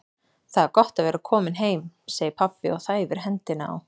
Það er gott að vera kominn heim, segir pabbi og þæfir hendina á